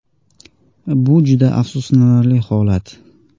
“Bu juda afsuslanarli holat.